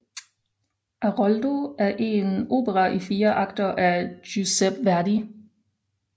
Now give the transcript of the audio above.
Aroldo er en opera i fire akter af Giuseppe Verdi